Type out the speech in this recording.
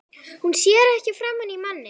Hún sér ekki framan í manninn.